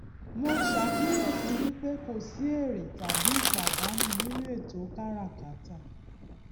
mo ṣàkíyèsí wípé kò sí èrè tàbí ìpàdánu nínú ètò káràkátà